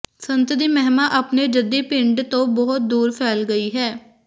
ਸੰਤ ਦੀ ਮਹਿਮਾ ਆਪਣੇ ਜੱਦੀ ਪਿੰਡ ਤੋਂ ਬਹੁਤ ਦੂਰ ਫੈਲ ਗਈ ਹੈ